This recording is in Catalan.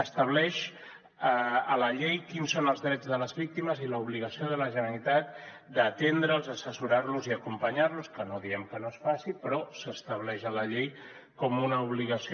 estableix a la llei quins són els drets de les víctimes i l’obligació de la generalitat d’atendre’ls assessorar los i acompanyar los que no diem que no es faci però s’estableix a la llei com una obligació